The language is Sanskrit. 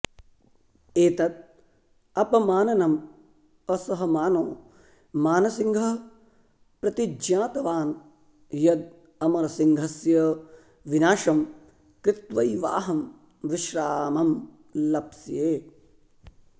एतद् अपमाननम् असहमानो मानसिंहः प्रतिज्ञातवान् यद् अमरसिंहस्य विनाशं कृत्वैवाहं विश्रामं लप्स्ये